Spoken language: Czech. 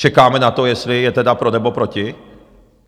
Čekáme na to, jestli je tedy pro, nebo proti.